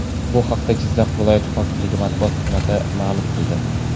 Bu haqda Jizzax viloyat hokimligi matbuot xizmati ma’lum qildi .